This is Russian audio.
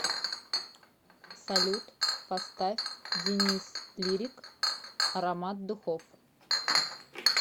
салют поставь денис лирик аромат духов